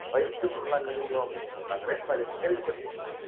வயிற்று புண்ணெல்லாம் நீங்கும் அப்படின்னு சொல்றாங்க ரேஷ்மா இத கேள்விப்பட்டிருக்கீங்களா